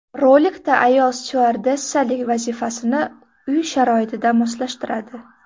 Rolikda ayol styuardessalik vazifasini uy sharoitiga moslashtiradi.